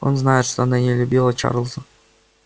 он знает что она не любила чарлза